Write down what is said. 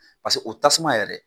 o tasuma yɛrɛ